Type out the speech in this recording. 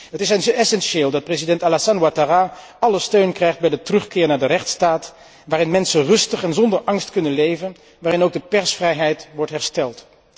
Het is essentieel dat president Alassane Ouattara alle steun krijgt bij de terugkeer naar de rechtsstaat waarin mensen rustig en zonder angst kunnen leven, waarin ook de persvrijheid wordt hersteld.